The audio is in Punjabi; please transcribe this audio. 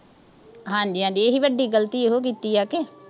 ਹਾਂਜੀ-ਹਾਂਜੀ, ਇਹੀ ਵੱਡੀ ਗਲਤੀ ਇਹਨੇ ਕੀਤੀ ਆ ਇੱਕ